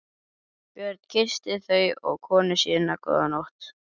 Björn kyssti þau og konu sína góða nótt.